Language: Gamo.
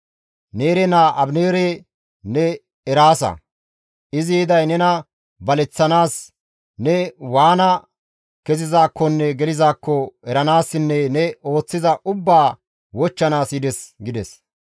Neere naa Abineere ne eraasa; izi yiday nena baleththanaas, ne waana kezizaakkonne gelizaakko eranaassinne ne ooththiza ubbaa wochchanaas yides» gides.